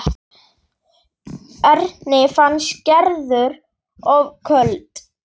Erni fannst Gerður of köld.